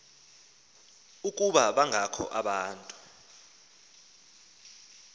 ukuba bangakho abantu